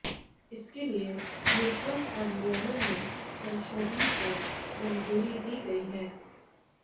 इसके लिये mutual fund नियमन में संशोधन को मंजूरी दी गई है